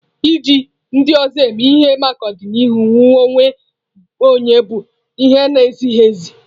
Iji ndị ọzọ eme ihe maka ọdịmma onwe onye bụ ihe na-ezighị ezi.